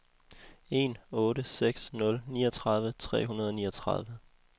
en otte seks nul niogtredive tre hundrede og niogtredive